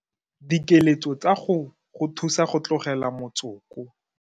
Dikeletso tsa go go thusa go tlogela motsoko.